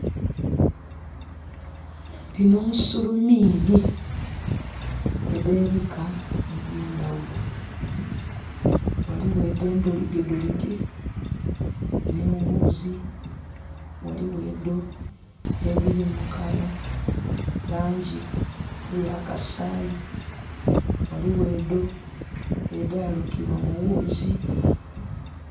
Dhino nsuluminhi edhebika ebyendhaghulo, ghaligho edho endholigedholige nhi ghuuzi, ghaligho edho edhiri mu kala, langi eya kasaayi, ghaligho edho edhalukibwa mu ghuuzi.